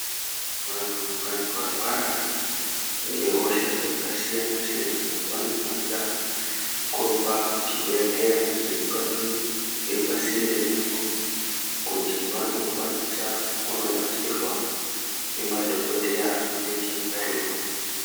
Vantu kana varwara ngehosha dzakasiyana siyana vanofanira kurumba kuchibhedhleya chiri padhu chiri pasinde navo kuti vandokwanisa kunobatsirwa ngemadhokodheya vanenge varipo.